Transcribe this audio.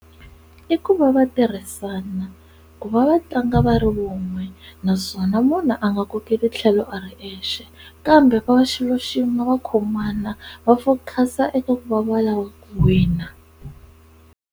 I ku va va tirhisana ku va va tlanga va ri wun'we naswona munhu a nga kokeli tlhelo ari exe, kambe va va xilo xin'we va khomana va focus eka ku va va lava ku wina.